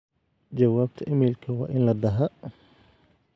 jawabta iimaylka waa in la dhahaa